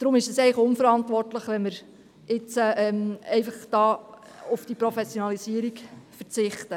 Darum ist es eigentlich unverantwortlich, wenn wir jetzt einfach auf diese Professionalisierung verzichten.